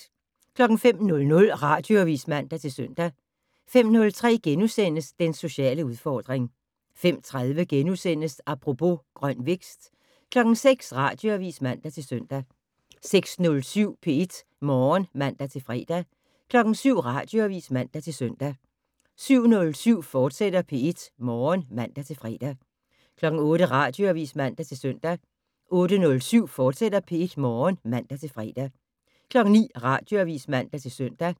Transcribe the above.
05:00: Radioavis (man-søn) 05:03: Den sociale udfordring * 05:30: Apropos - grøn vækst * 06:00: Radioavis (man-søn) 06:07: P1 Morgen (man-fre) 07:00: Radioavis (man-søn) 07:07: P1 Morgen, fortsat (man-fre) 08:00: Radioavis (man-søn) 08:07: P1 Morgen, fortsat (man-fre) 09:00: Radioavis (man-søn)